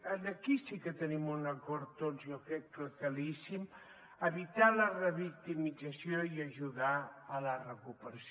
aquí sí que tenim un acord tots jo crec que claríssim evitar la revictimització i ajudar a la recuperació